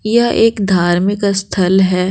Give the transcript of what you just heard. यह एक धार्मिक स्थल है ।